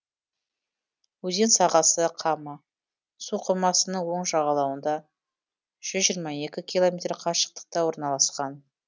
өзен сағасы кама суқоймасының оң жағалауынан жүз жиырма екі километр қашықтықта орналасқан